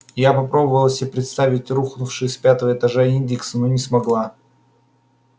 я попробовала себе представить рухнувшие с пятого этажа индексы но не смогла